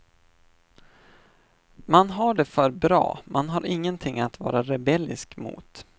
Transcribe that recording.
Man har det för bra, man har ingenting att vara rebellisk mot.